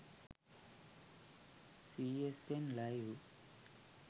csn live